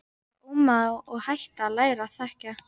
Var ómagi og átti að læra að þegja.